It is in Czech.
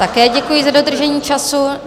Také děkuji za dodržení času.